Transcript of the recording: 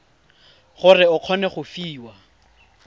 gore o kgone go fiwa